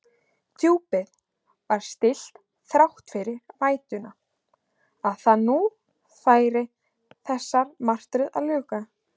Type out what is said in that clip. Djúpið var stillt þrátt fyrir vætuna, að nú færi þessari martröð að ljúka.